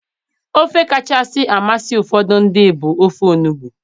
Ofe kacha amasị ụfọdụ ndị bụ ofe onugbu